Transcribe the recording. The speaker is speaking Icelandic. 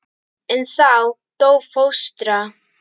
En þá dó fóstra.